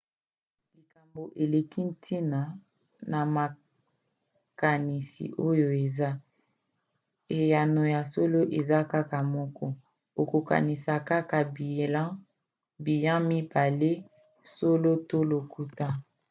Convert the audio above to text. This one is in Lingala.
likambo eleki ntina na makanisi oyo eza: eyano ya solo eza kaka moko. okokanisa kaka biyan mibale solo to lokuta